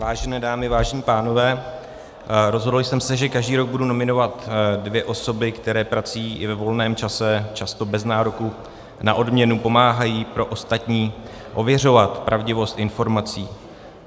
Vážené dámy, vážení pánové, rozhodl jsem se, že každý rok budu nominovat dvě osoby, které prací i ve volném čase, často bez nároku na odměnu, pomáhají pro ostatní ověřovat pravdivost informací.